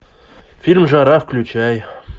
фильм жара включай